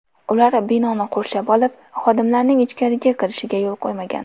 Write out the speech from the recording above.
Ular binoni qurshab olib, xodimlarning ichkariga kirishiga yo‘l qo‘ymagan.